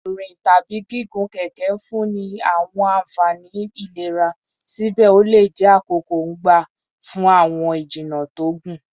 Rin tabi gigun keke nfunni ni awọn anfani ilera, sibẹ o le jẹ akoko-n gba fun awọn ijinna to gun